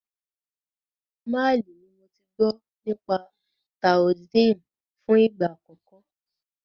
Málì ní mo tí gbọ́ nípa Taoism fún ìgbà àkọ́kọ́.